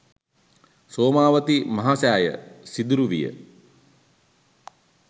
සෝමාවතී මහසෑය සිදුරු විය.